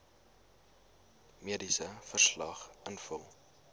mediese verslag invul